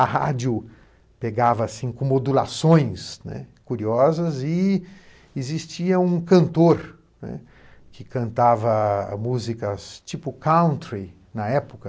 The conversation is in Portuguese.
A rádio pegava, assim, com modulações, né? curiosas e existia um cantor que cantava músicas tipo country na época.